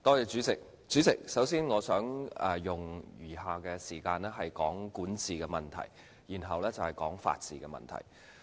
主席，首先，我想用餘下的時間談談管治問題，然後再談法治問題。